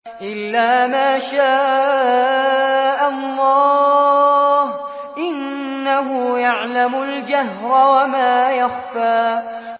إِلَّا مَا شَاءَ اللَّهُ ۚ إِنَّهُ يَعْلَمُ الْجَهْرَ وَمَا يَخْفَىٰ